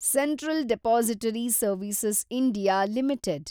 central depository service (India) limited